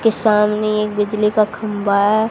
सामने एक बिजली का खंबा हैं।